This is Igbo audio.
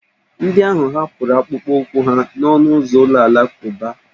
Ndị ahụ hapụrụ akpụkpọụkwụ ha n'ọnụ ụzọ ụlọ alakụba.